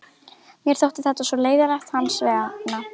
Mér þótti þetta svo leiðinlegt hans vegna.